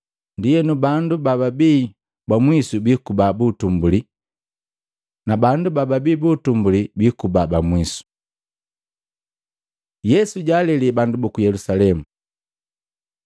Ndienu bandu bababii ba mwisu bikuba buutumbuli, na bandu bababibumbuli bikuba bamwisu.” Yesu jaalele bandu buku Yelusalemu Matei 23:37-39